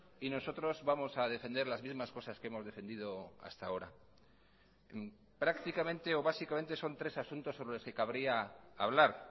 y nosotros vamos a defender las mismas cosas que hemos defendido hasta ahora prácticamente o básicamente son tres asuntos sobre los que cabría hablar